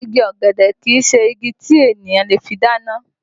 Igi ọ̀gẹ̀dẹ̀ kìí se igi tí ènìyàn le fi dáná